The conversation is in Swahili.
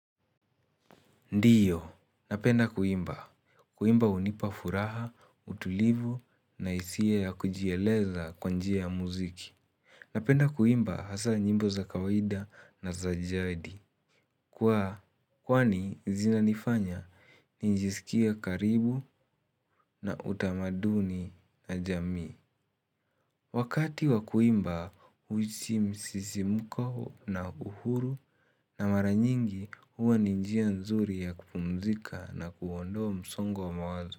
Ndiyo, napenda kuimba. Kuimba hunipa furaha, utulivu na hisia ya kujieleza kwa njia ya muziki. Napenda kuimba hasa nyimbo za kawaida na za jadi. Kuwa kwani zina nifanya ninjisikie karibu na utamaduni na jamii. Wakati wakuimba huhisi msisimko na uhuru na maranyingi huwa ninjia nzuri ya kupumzika na kuondoa msongo wa mawazo.